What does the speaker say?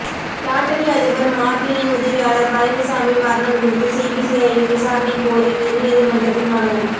lottery அதிபர் மார்ட்டினின் உதவியாளர் பழனிசாமி மரணம் குறித்து சிபிசிஐடி விசாரணை கோரி உயர்நீதிமன்றத்தில் மனு